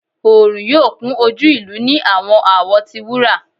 Oorun yoo kun oju ilu ni awọn awọ ti wura